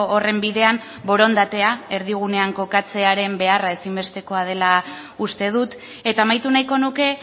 horren bidean borondatea erdigunean kokatzearen beharra ezinbestekoa dela uste dut eta amaitu nahiko nuke